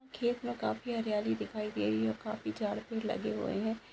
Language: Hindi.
खेत व काफी हरियाली दिखाई दे रही हैऔर काफी झाड भी लगे हुए है।